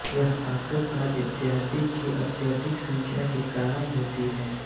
यह auto car इत्यादि की अत्यधिक संख्या के कारण होती है